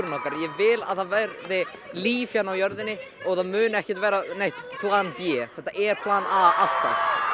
okkar ég vil að það verði líf hérna á jörðinni og það muni ekki verða neitt plan b þetta er plan a alltaf